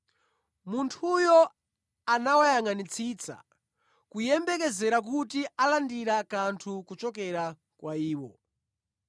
Munthuyo anawayangʼanitsitsa kuyembekezera kuti alandira kanthu kuchokera kwa iwo.